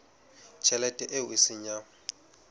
tjhelete eo e seng ya